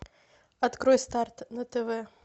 открой старт на тв